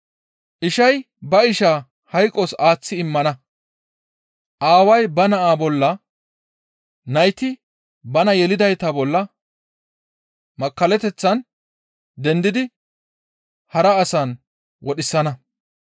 «Ishay ba ishaa hayqos aaththi immana; aaway ba naa bolla, nayti bana yelidayta bolla makkallateththan dendidi hara asan wodhisana.